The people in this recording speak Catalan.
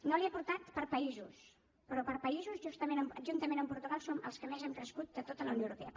no l’hi he portat per països però per països juntament amb portugal som els que més hem crescut de tota la unió europea